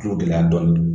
Tulo gɛlɛya dɔɔnin